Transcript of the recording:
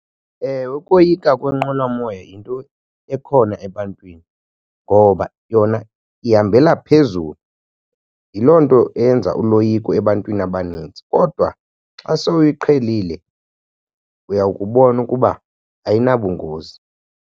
Ewe, ukoyika kwenqwelomoya yinto ekhona ebantwini ngoba yona ihambela phezulu. Yiloo nto eyenza uloyiko ebantwini abanintsi, kodwa xa sewuyiqhelile uyawukubona ukuba ayinabungozi.